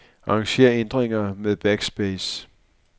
Arranger ændringer med backspace.